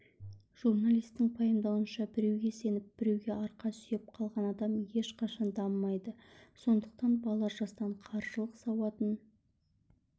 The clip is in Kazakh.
журналистің пайымдауынша біреуге сеніп біреуге арқа сүйеп қалған адам ешқашан дамымайды сондықтан бала жастан қаржылық сауатын